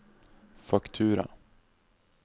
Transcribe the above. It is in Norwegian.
faktura